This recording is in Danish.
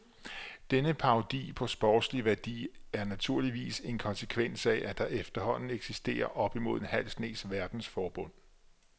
Denne parodi på sportslig værdi er naturligvis en konsekvens af, at der efterhånden eksisterer op imod en halv snes verdensforbund.